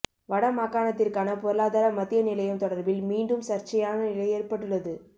வடமாகாணத்திற்கான பொருளாதார மத்திய நிலையம் தொடர்பில் மீண்டும் சர்ச்சையான நிலை ஏற்பட்டுள்ளது